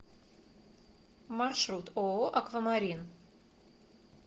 маршрут ооо аквамарин